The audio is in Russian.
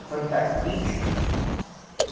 фантастический